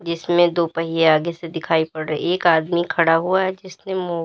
इसमें दो पहिया आगे से दिखाई पड़ रही है एक आदमी खड़ा हुआ है जिसने मु--